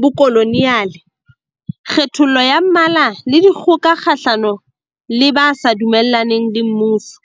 bokolo neale, kgethollo ya mmala le dikgoka kgahlano le ba sa dumellaneng le mmuso.